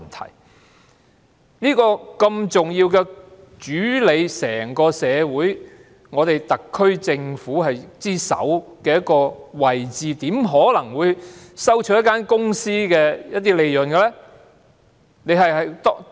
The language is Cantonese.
他身處這個如此重要、主理整個社會、特區政府之首的位置，怎可能收取一間公司的利潤呢？